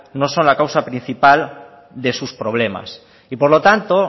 no son la causa principal de sus problemas y por lo tanto